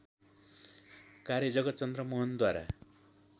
कार्य जगतचन्द्र मोहनद्वारा